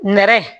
Nɛrɛ